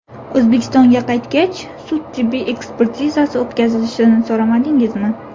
O‘zbekistonga qaytgach, sud-tibbiy ekspertizasi o‘tkazilishini so‘ramadingizmi?